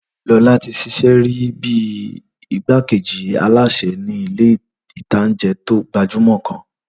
Lọlá ti ṣiṣẹ́ rí bíi igbákejì alásè ní ilé ìtanjẹ́ tó gbajúmọ̀ kan